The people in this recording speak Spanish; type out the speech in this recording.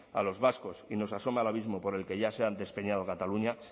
a los vascos y nos asome al abismo por el que ya se ha despeñado cataluña